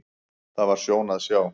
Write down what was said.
Það var sjón að sjá.